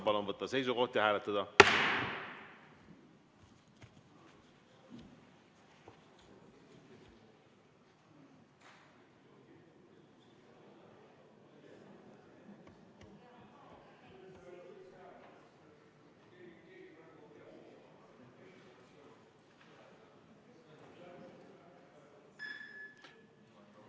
Palun võtta seisukoht ja hääletada!